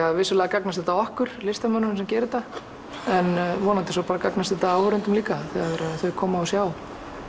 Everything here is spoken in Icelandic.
að vissulega gagnast þetta okkur listamönnunum sem gera þetta en vonandi gagnast þetta svo áhorfendum líka þegar þeir koma og sjá